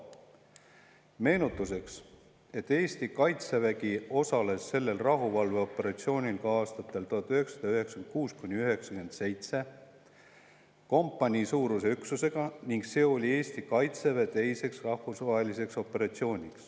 Meenutuseks: Eesti kaitsevägi osales sellel rahuvalveoperatsioonil ka aastatel 1996–1997 kompaniisuuruse üksusega ning see oli Eesti kaitseväe teine rahvusvaheline operatsioon.